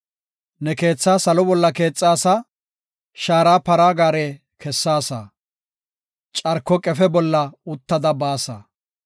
Ne keethaa salo bolla keexaasa; shaara para gaare kessaasa; carko qefe bolla uttada baasa.